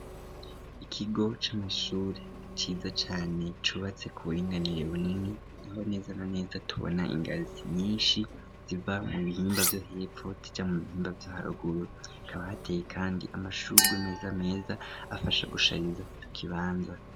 Ikigo c'amashure ciza cane cubatse ku buringanire bunini niho neza na neza tubona ingazi nyinshi ziva mu bihimba vyo hepfo zija mu bihimba vyo haruguru ikaba hateye kandi amashugwe meza meza afasha gushariza ico kibanza.